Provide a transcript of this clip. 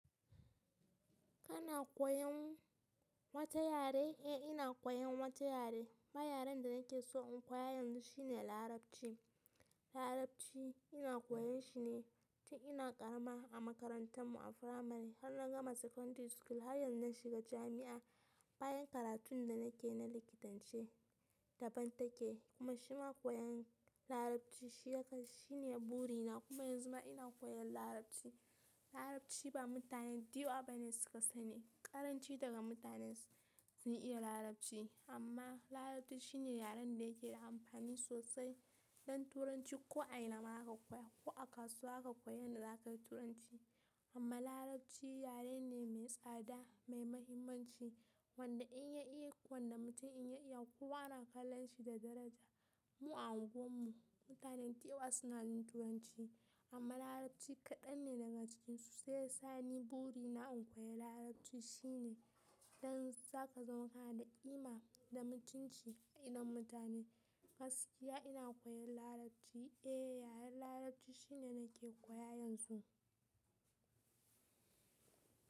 Kana koyan wata yare? Eh ina koyan wata yare. Ma yaren da nake so in koya yanzu shine Larabci. Larabci ina koyan shi ne tun ina ƙarama a makarantar mu a firamare har na gama sekondiri skul har yanzu na shiga jami'a. Bayan karatun da nake na likitanci daban take kuma shima koyan Larabci shi ya kas shi ne buri na kuma yanzu ma ina koyan Larabci. Larabci ba mutane ɗiyo bane suka sani ƙaranci daga mutane sun iya Larabci amma Larabci shi ne yaren da yake da amfani sosai don turanci ko a ina ma aka koya ko a kasuwa aka koya yanda za ka yi turanci. Amma Larabci yare ne mai tsada, mai mahimmanci wanda in ya iko wanda mutum in ya iya kowa yana kallon shi da daraja. Mu a unguwar mu mutane dayawa suna yin turanci amma Larabci kaɗan ne daga cikinsu sai ya sa ni buri na in koya Larabci shi ne don za ka zama kana da ƙima da mutunci a idon mutane. Gaskiya ina koyan Larabci. Eh yaren Larabci shi ne nake koya yanzu.